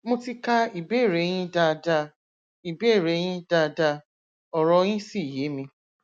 mo ti ka ìbéèrè yín dáadáa ìbéèrè yín dáadáa ọrọ yín sì yé mi